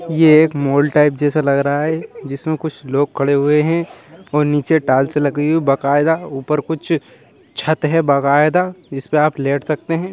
ये एक mall type जैसा लग रहा है जिसमे कुछ लोग खड़े हुए है और नीचे टाईल्स लगी हुई है बकायदा ऊपर कुछ छत है बगायदा जिसमे आप लेट सकते है।